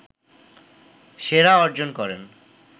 সেরা অর্জন করেন